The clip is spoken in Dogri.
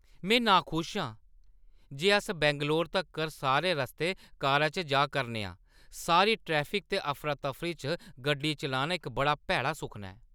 में नाखुश आं जे अस बैंगलोर तक्कर सारे रस्तै कारा च जा करने आं। सारी ट्रैफिक ते अफरातफरी चा गड्डी चलाना इक बड़ा भैड़ा सुखना ऐ!